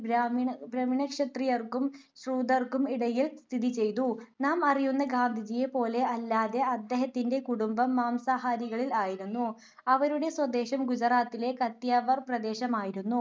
ബ്രാഹ്മിണ ക്ഷത്രീയർക്കും ശൂദ്രർകും ഇടയിൽ സ്ഥിതി ചെയ്തു. നാം അറിയുന്ന ഗാന്ധിജിയെ പോലെ അല്ലാതെ, അദ്ദേഹത്തിന്റെ കുടുംബം മാംസാഹാരികൾ ആയിരുന്നു. അവരുടെ സ്വദേശം ഗുജറാത്തിലെ കത്തിയവാർ പ്രദേശമായിരുന്നു.